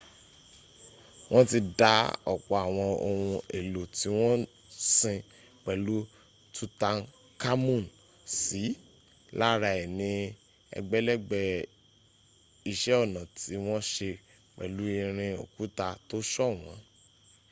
wọ́n ti dá ọ̀pọ̀ àwọn ohun èlò tí wọ́n sin pẹ̀lú tutankhamun sí lára è ní ẹgbẹ̀lẹ́gbẹ̀ iṣẹ́ ọnà tí wọ́n se pẹ̀lú irin àti òkúta tó ṣọ̀wọ́n